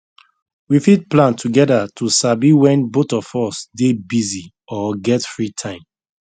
we fit plan together to sabi when both of us dey busy or get free time